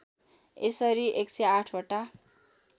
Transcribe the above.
यसरी १०८ वटा